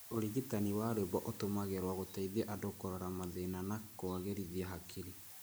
Ũrigitani wa rwĩmbo ũtũmĩragwo gũteithia andũ kũrora mathĩna na kũagĩrithia hakiri.